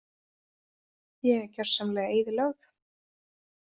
Ég er gjörsamlega eyðilögð.